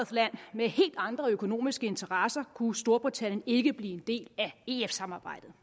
med helt andre økonomiske interesser kunne storbritannien ikke blive en del af ef samarbejdet